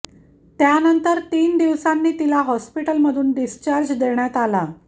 त्यानंतर तीन दिवसांनी तिला हॉस्पिटलमधून डिस्चार्ज देण्यात आला